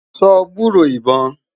sọ gburó ibọn?